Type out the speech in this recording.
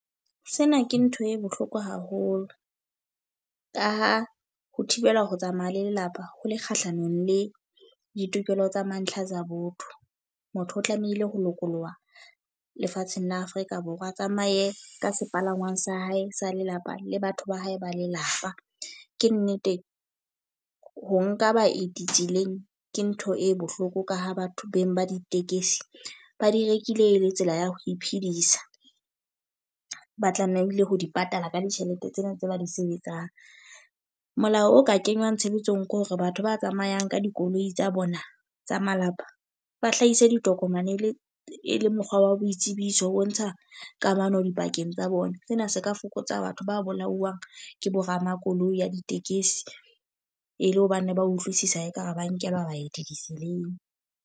Sena ke ntho e bohloko haholo. Ka ha ho thibela ho tsamaya le lelapa ho le kgahlanong le ditokelo tsa mantlha tsa botho. Motho o tlamehile ho lokoloha lefatsheng la Afrika Borwa, a tsamaye ka sepalangwang sa hae sa lelapa le batho ba hae ba lelapa. Ke nnete ho nka baeti tseleng ke ntho e bohloko. Ka ha batho beng ba ditekesi ba di rekile le tsela ya ho iphedisa, ba tlamehile ho di patala ka ditjhelete tsena tse ba di sebetsang. Molao o ka kenywang tshebetsong ke hore batho ba tsamayang ka dikoloi tsa bona tsa malapa, ba hlahise ditokomane le e le mokgwa wa boitsebiso bo ntsha kamano dipakeng tsa bona. Sena se ka fokotsa batho ba bolawang ke bo ramakoloi ya ditekesi. E le hobane ba utlwisisa e ka re ba nkelwa baeti ditseleng.